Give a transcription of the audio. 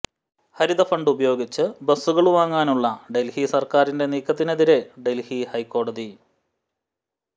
ഹരിത fund ഉപയോഗിച്ച് ബസ്സുകള് വാങ്ങാനുള്ള ഡല്ഹി സര്ക്കാരിന്റെ നീക്കത്തിനെതിരെ ഡല്ഹി ഹൈക്കോടതി